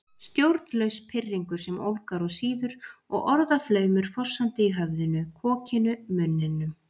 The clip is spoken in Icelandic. Stjórnlaus pirringur sem ólgar og sýður og orðaflaumur fossandi í höfðinu, kokinu, munninum